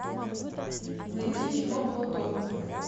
найди кино платон